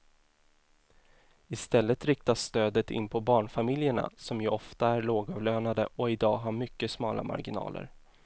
I stället riktas stödet in på barnfamiljerna som ju ofta är lågavlönade och i dag har mycket smala marginaler.